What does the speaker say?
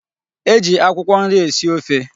E ji akwụkwọ nri esi ofe.